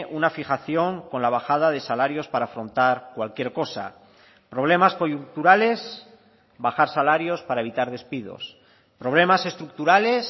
una fijación con la bajada de salarios para afrontar cualquier cosa problemas coyunturales bajar salarios para evitar despidos problemas estructurales